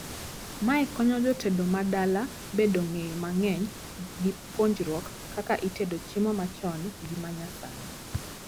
Mae konyo jotedo ma dala bedo ng'eyo mang'eny gi puonjruok kaka itedo chiemo machon gi manyasani